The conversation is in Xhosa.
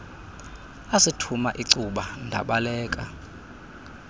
asithuma icuba ndabaleka